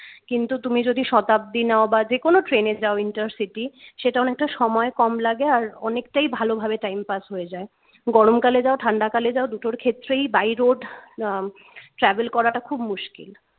কিন্তু তুমি যদি শতাব্দী নাও বা যে কোন ট্রেনে যাও intercity সেটা অনেকটা সময় কম লাগে এবং অনেকটাই ভালোভাবে time pass হয়ে যাই গরমকালে যাও ঠান্ডাকালে যাও দুটোর ক্ষেত্রেই by road আহ travel করাটা খুব মুশকিল